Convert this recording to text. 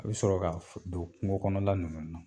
A bɛ sɔrɔ ka f don kungo kɔnɔla ninnu na.